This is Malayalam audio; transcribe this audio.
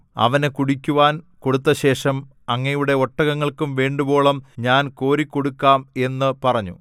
അവന് കുടിക്കുവാൻ കൊടുത്തശേഷം അങ്ങയുടെ ഒട്ടകങ്ങൾക്കും വേണ്ടുവോളം ഞാൻ കോരിക്കൊടുക്കാം എന്നു പറഞ്ഞു